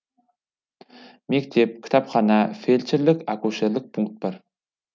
мектеп кітапхана фельдшірлік акушерлік пункт бар